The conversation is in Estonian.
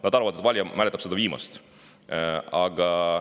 " Nad arvavad, et valija mäletab vaid seda viimast.